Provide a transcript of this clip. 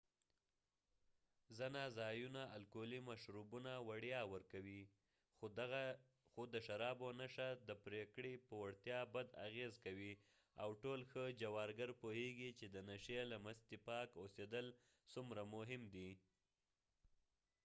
ځنه ځایونه الکولي مشروبونه وړیا ورکوي خو د شرابو نشه د پرېکړې په وړتیا بد اغېز کوي او ټول ښه جوارګر پوهیږي چې د نشۍ له مستې پاک اوسېدل څومره مهم دي